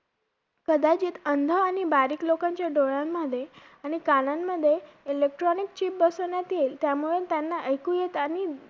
आणि असं office ला एकदा गेलो होतो मी कामाला पण ते contract होतो एकदिवस आणि महिनाभर माझी gap पडली होती त्यामुळे जमलं नाही मला काम थोडी speed कमी झाली.